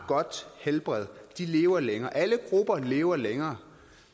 godt helbred lever længere alle grupper lever længere